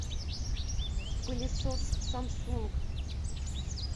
пылесос самсунг